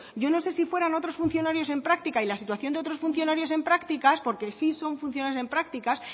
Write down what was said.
yo no sé si fueran otros funcionarios en práctica y la situación de otros funcionarios en prácticas porque sí son funcionarios en prácticas